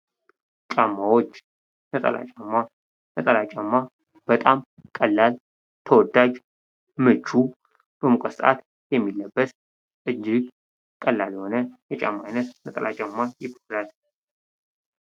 ጫማዎች ነጠላ ጫማ ነጠላ ጫማ በጣም ቀላል፣ ተወዳጅ፣ ምቹ፣ በሙቀት ሰዓት የሚለብስ እጅግ ቀላል የሆነ ጫማ አይነት ነጠላ ጫማ ይባላል።